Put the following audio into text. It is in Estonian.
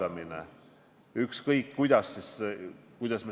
Aitäh, lugupeetud eesistuja!